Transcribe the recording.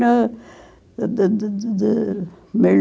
Dã dã dã dã dã dã